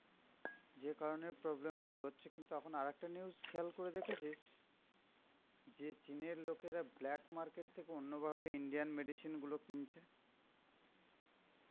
যে কারণে problem গুলো হচ্ছে, কিন্তু এখন আর একটা news খেয়াল করে দেখেছিস যে চিন এর লোকেরা blackmarket থেকে অন্য ভাবে indian medicine গুলো কিনছে